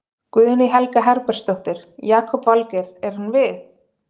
Guðný Helga Herbertsdóttir: Jakob Valgeir, er hann við?